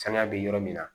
Sanga bɛ yɔrɔ min na